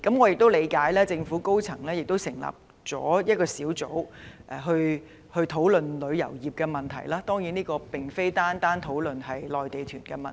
據我了解，政府已成立一個小組研究旅遊業問題，但小組當然並非僅是討論內地團問題。